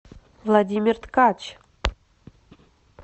владимир ткач